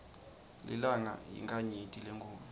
lilanga yinkhanyeti lenkhulu